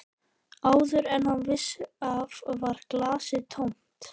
Áður en hann vissi af var glasið tómt.